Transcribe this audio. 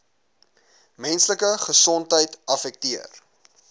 menslike gesondheid affekteer